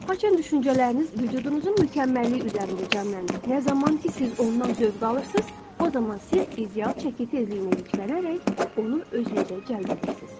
Haçan düşüncələriniz vücudunuzun mükəmməlliyi üzərində cəmlənir, nə zaman ki, siz ondan zövq alırsınız, o zaman siz ideal çəki tezliyinə yüklənərək onu özünüzə cəlb edirsiniz.